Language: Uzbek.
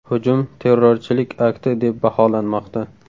Hujum terrorchilik akti deb baholanmoqda.